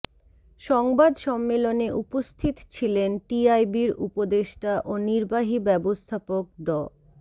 সংবাদ সম্মেলনে উপস্থিত ছিলেন টিআইবির উপদেষ্টা ও নির্বাহী ব্যবস্থাপক ড